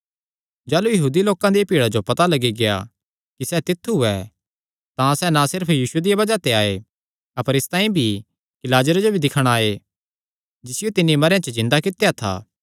जाह़लू यहूदी लोकां दिया भीड़ा जो पता लग्गी गेआ कि सैह़ तित्थु ऐ तां सैह़ ना सिर्फ यीशु दिया बज़ाह ते आये अपर इसतांई भी कि लाजरे जो भी दिक्खणा आये जिसियो तिन्नी मरेयां च जिन्दा कित्या था